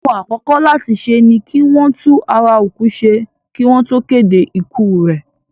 Ohun àkọ́kọ́ láti ṣe ni kí wọ́n tún ara òkú ṣe kí wọ́n tó kéde ikú rẹ̀.